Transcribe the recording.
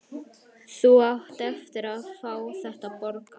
Þú átt eftir að fá þetta borgað!